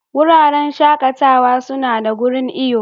Wuraren shakatawa suna da wurin iyo.